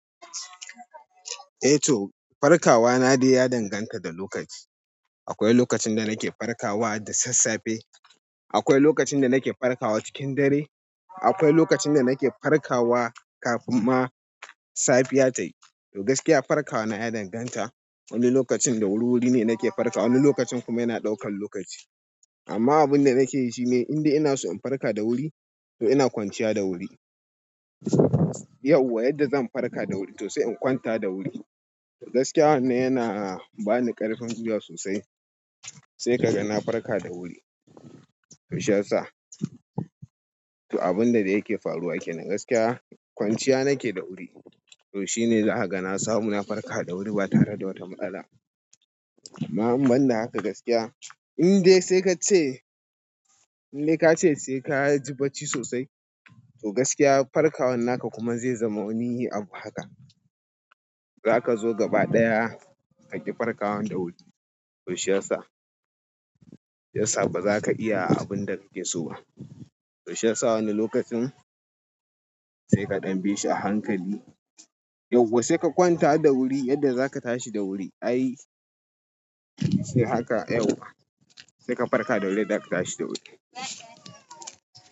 Eh toh farkawa na dai ya danganta da lokaci akwai lokacin da nake farkawa da sassafe, akwai lokacin da nake farkawa cikin dare, akwai lokacin da nake farkawa kafin ma safiya tayi. To gaskiya farkawa na ya danganta, wani lokacin da wuri-wuri ne nake farkawa, wani lokacin kuma yana ɗaukan lokaci. Amma abin da nake yi shi ne in dai ina so in farka da wuri, to ina kwanciya da wuri. Yau wa yadda zan farka da wuri, to sai in kwanta da wuri. To gaskiya wannan yana bani ƙarfin gwiya sosai, sai ka ga na farka da wuri. To shiyasa, to abin da dai yake faruwa kenan, gaskiya kwanciya nake da wuri. To shine za a ga na samu na farka da wuri ba tare da wata matsala. Amma in ban da haka gaskiya. In dai sai ka ce, in dai ka ce sai ka ji barci sosai, to gaskiya farkawan naka kuma zai zama wani abu haka. Zaka zo gaba ɗaya kaƙi farkawan da wuri. To shiyasa, shiyasa ba za ka iya abin da kake so ba. Toh shiyasa wani lokacin sai ka ɗan bishi a hankali yauwa sai ka kwanta da wuri yadda za ka tashi da wuri. Ai sai haka yauwa, sai ka farka da wuri yadda ka tashi da wuri.